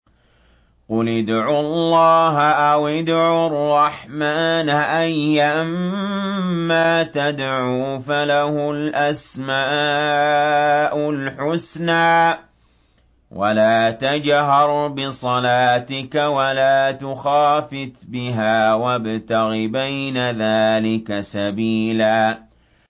قُلِ ادْعُوا اللَّهَ أَوِ ادْعُوا الرَّحْمَٰنَ ۖ أَيًّا مَّا تَدْعُوا فَلَهُ الْأَسْمَاءُ الْحُسْنَىٰ ۚ وَلَا تَجْهَرْ بِصَلَاتِكَ وَلَا تُخَافِتْ بِهَا وَابْتَغِ بَيْنَ ذَٰلِكَ سَبِيلًا